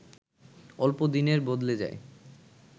অল্প দিনেই বদলে যায়